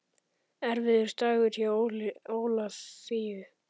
Erfiður dagur hjá Ólafíu